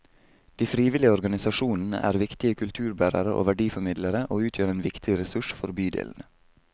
De frivillige organisasjonene er viktige kulturbærere og verdiformidlere, og utgjør en viktig ressurs for bydelene.